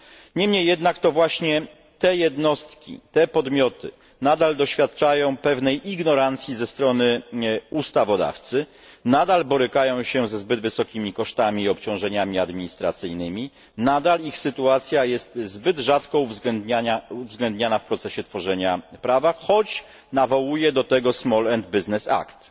Niemniej jednak to właśnie te jednostki, te podmioty nadal doświadczają pewnej ignorancji ze strony ustawodawcy, nadal borykają się ze zbyt wysokimi kosztami i obciążeniami administracyjnymi, nadal ich sytuacja jest zbyt rzadko uwzględniana w procesie tworzenia prawa, choć nawołuje do tego Small Business Act.